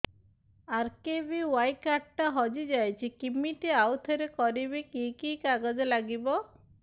RKBY card ଟା ହଜିଯାଇଛି କିମିତି ଆଉଥରେ କରିବି କି କି କାଗଜ ଲାଗିବ